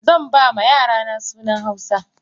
Zanba ma yarana sunan hausa.